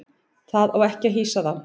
Það á ekki að hýsa þá.